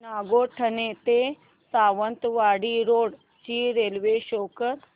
नागोठणे ते सावंतवाडी रोड ची railway show कर